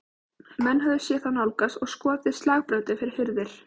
Menn höfðu séð þá nálgast og skotið slagbröndum fyrir hurðir.